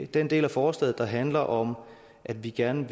den del af forslaget der handler om at vi gerne